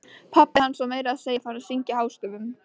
Pabbi hans var meira að segja farinn að syngja hástöfum!